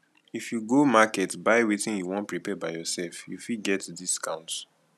if you go market buy wetin you won prepare by yourself you fit get discount